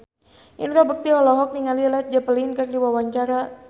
Indra Bekti olohok ningali Led Zeppelin keur diwawancara